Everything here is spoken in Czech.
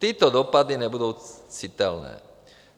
Tyto dopady nebudou citelné.